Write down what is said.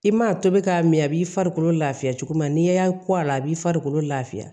I mana tobi k'a mɛn a b'i farikolo lafiya cogo min na n'i y'a kɔ a la a b'i farikolo lafiya